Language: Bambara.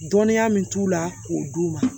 Dɔnniya min t'u la k'o d'u ma